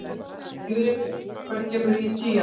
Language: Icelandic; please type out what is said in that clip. Grethe, hvenær kemur tían?